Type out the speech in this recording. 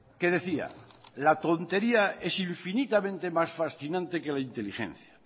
que decía la tontería es infinitamente más fascinante que la inteligencia